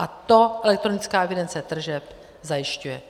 A to elektronická evidence tržeb zajišťuje.